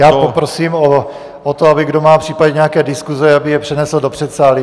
Já poprosím o to, aby kdo má případně nějaké diskuse, aby je přenesl do předsálí.